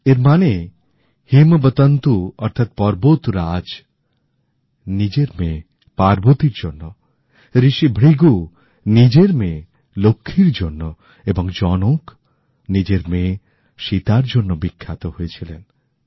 এর মানে হিমাবঁতন্তু অর্থাৎ পর্বতরাজ নিজের মেয়ে পার্বতীর জন্য ঋষি ভৃগু নিজের মেয়ে লক্ষ্মীর জন্য এবং জনক নিজের মেয়ে সীতার জন্য বিখ্যাত হয়েছিলেন